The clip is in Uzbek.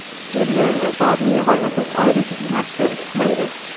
Belgilangan soatni yig‘olmasak, oylik yaxshi chiqmaydi.